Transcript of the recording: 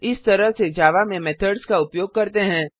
इस तरह से जावा में मेथड्स का उपयोग करते हैं